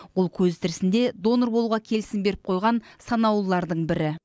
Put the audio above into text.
ол көзі тірісінде донор болуға келісім беріп қойған санаулылардың бірі